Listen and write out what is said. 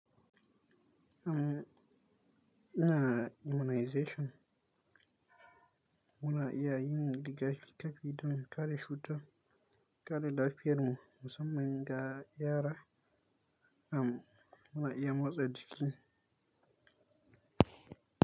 Am ina immunization muna iya yin rigakafi don kare cutar, kare lafiyarmu musamman ga yara. Am muna iya motsa jiki.